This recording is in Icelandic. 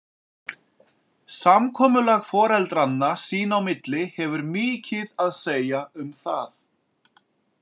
Samkomulag foreldranna sín á milli hefur mikið að segja um það.